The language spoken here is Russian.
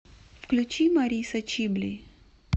включи марисса чибли